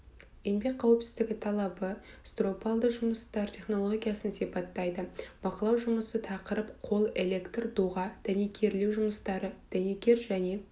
еңбек қауіпсіздігі талабы стропалды жұмыстар технологиясын сипаттайды бақылау жұмысы тақырып қол электр доға дәнекерлеу жұмыстары дәнекер және